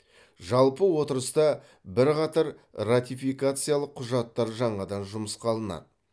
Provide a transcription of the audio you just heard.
жалпы отырыста бірқатар ратификациялық құжаттар жаңадан жұмысқа алынады